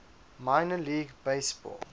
minor league baseball